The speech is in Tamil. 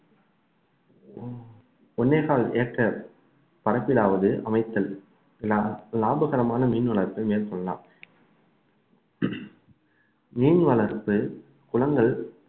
ஒண்ணே கால் ஏக்கர் பரப்பிலாவது அமைத்தல் லாபகரமான மீன் வளர்ப்பை மேற்கொள்ளலாம் மீன் வளர்ப்பு குளங்கள்